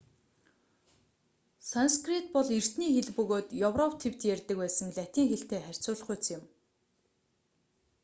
санскрит бол эртний хэл бөгөөд европ тивд ярьдаг байсан латин хэлтэй харьцуулахуйц юм